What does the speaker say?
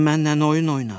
Sən mənlə oyun oynadın.